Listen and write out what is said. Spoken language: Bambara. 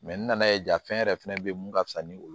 n nana ye ja fɛn yɛrɛ fɛnɛ be ye mun ka fisa ni olu